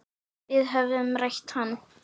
Við höfðum rætt hann.